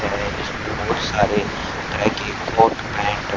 बहुत सारे हैं।